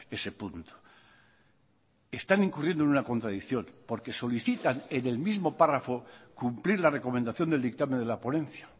ese punto están incurriendo en una contradicción porque solicitan en el mismo párrafo cumplir la recomendación del dictamen de la ponencia